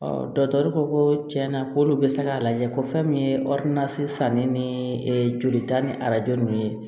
ko ko tiɲɛna k'olu bɛ se k'a lajɛ ko fɛn min ye sannen ni joli ta ni arajo ninnu ye